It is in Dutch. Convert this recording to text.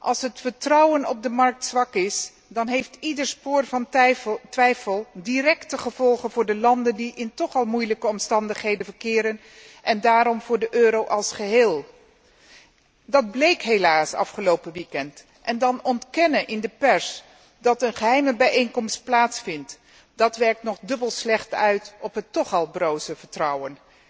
Als het vertrouwen op de markt zwak is, dan heeft ieder spoor van twijfel directe gevolgen voor de landen die toch al in moeilijke omstandigheden verkeren en daarom voor de euro als geheel. Dat bleek helaas afgelopen weekend en dan ontkennen in de pers dat een geheime bijeenkomst plaatsvindt, dat werkt nog dubbel slecht uit op het toch al broze vertrouwen.